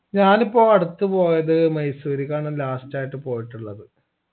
ഞാനിപ്പോ അടുത്ത് പോയത് മൈസൂര്ക്കാണ് last ആയിട്ട് പോയിട്ടുള്ളത്